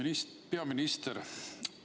Austatud peaminister!